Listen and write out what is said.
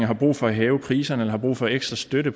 har brug for at hæve priserne har brug for ekstra støtte